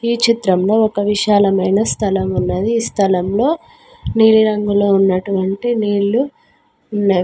ఈ చిత్రంలో ఒక విశాలమైన స్థలము ఉన్నది ఈ స్థలంలో నీలిరంగులో ఉన్నటువంటి నీళ్లు ఉన్న --